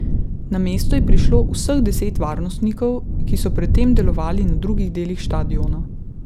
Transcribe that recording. Na mesto je prišlo vseh deset varnostnikov, ki so pred tem delovali na drugih delih štadiona.